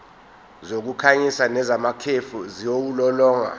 zokukhanyisa nezamakhefu ziwulolonga